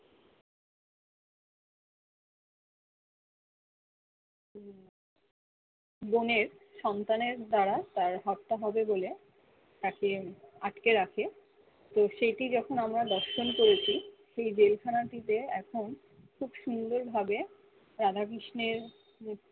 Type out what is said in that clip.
বোনের সন্তানের দ্বারা তার হত্যা হবে বলে তাকে আটকে রাখে তো সেটি যখন আমরা দর্শন করেছি সেই জেলাখানটিতে এখন খুব সুন্দর ভাবে রাধা কৃষ্ণের মু